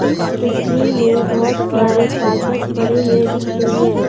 इस तस्वीर में बहुत सारे कागज पड़े हुए दिख रही हैं।